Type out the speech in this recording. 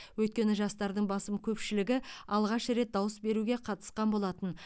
өйткені жастардың басым көпшілігі алғаш рет дауыс беруге қатысқан болатын